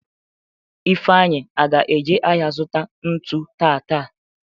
Ifeanyi aga eje ahịa zụta ntu taata?